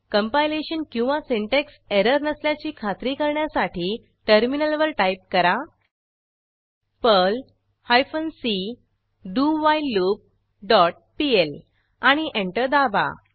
compilation किंवा syntax error नसल्याची खात्री करण्यासाठी टर्मिनलवर टाईप करा पर्ल हायफेन सी डोव्हिलेलूप डॉट पीएल आणि एंटर दाबा